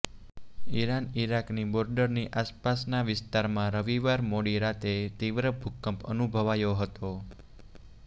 Iran ઇરાકની બોર્ડરની આસપાસના વિસ્તારમાં રવિવાર મોડી રાતે તીવ્ર ભૂંકપ અનુભવાયો હતો